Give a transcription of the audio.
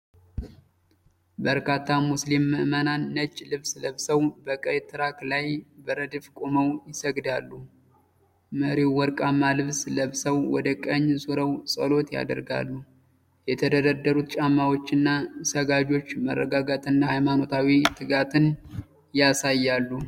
በርካታ ሙስሊም ምእመናን ነጭ ልብስ ለብሰው በቀይ ትራክ ላይ በረድፍ ቆመው ይሰግዳሉ። መሪው ወርቃማ ልብስ ለብሰው ወደ ቀኝ ዞረው ጸሎት ያደርጋሉ። የተደረደሩት ጫማዎችና ሰጋጆች መረጋጋትንና ሃይማኖታዊ ትጋትን ያሳያሉ።